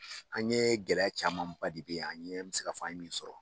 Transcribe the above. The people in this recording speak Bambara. An ɲe gɛlɛya camanba de bɛ ye an ɲe an bɛ se ka fɔ an ye min sɔrɔ.